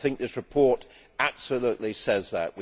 I think this report absolutely says that.